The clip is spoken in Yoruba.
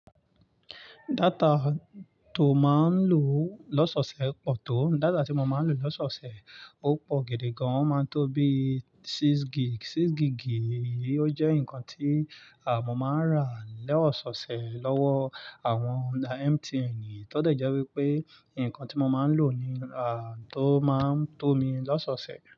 Data tó máa ń lò loṣọṣẹ pọ̀ tó. Data tí mo máa ń lò loṣọoṣẹ ó pọ̀ gidi gan. Ó máa ń tó bí six gig. Six gigii o jẹ́ nǹkan tí mọ̀ máa ń rà loṣọoṣẹ lọ́wọ́ àwọn MTN. Iyi tọ de jẹ́ wípé nǹkan tí mo máa ń lò ni tó máa ń tó mi loṣọoṣẹ.